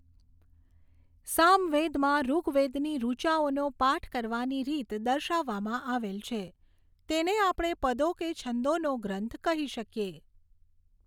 સામવેદમાં ઋગ્વેદની ઋચાઓનો પાઠ કરવાની રીત દર્શાવવામાં આવેલ છે તેને આપણે પદો કે છંદોનો ગ્રંથ કહી શકીએ.